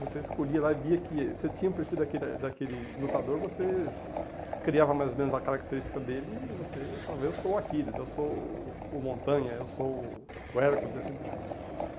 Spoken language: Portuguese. Você escolhia lá e via que eh você tinha o perfil daquela daquele lutador, você criava mais ou menos a característica dele e você falava, eu sou o Aquiles, eu sou o o Montanha, eu sou o o Hércules, assim por diante.